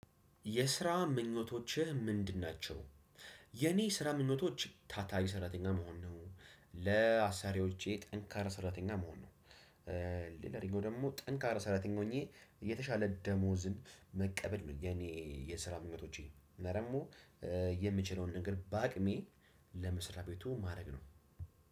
የስራ ምኞቶችህ ምንድን ናቸው? የእኔ ስራ ምኞቶች ታታሪ ሰራተኛ መሆን ነው። ለአሰሪዎቼ ጠንካራ ሰራተኛ መሆን ነው ሌላ ደግሞ ደግሞ ጠንካራ ሰራተኛ ሆኜ የተሻለ ደሞዝን መቀበል የኔ የስራ ምኞቶቼ፤ እና ደግሞ የምችለውን ነገር በአቅሜ ለመስሪያ ቤቱ ማድረግ ነው።